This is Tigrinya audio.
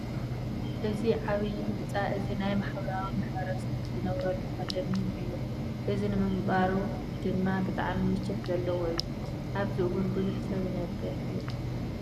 እዚ ዓብይ ህንፃ እዚ ናይ ማሕበራዊ ማሕረሰብ ዝነብርሉ ኮንደምንየም እዩ። እዚ ንምንባሩ ድማ ብጣዕሚ ምቸት ዘለዎ እዩ። ኣበዚ እውን ቡዙሕ ሰብ ይነብር እዩ።